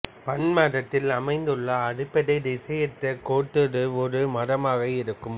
பன்மரத்தில் அமைந்துள்ள அடிப்படை திசையற்ற கோட்டுரு ஒரு மரமாக இருக்கும்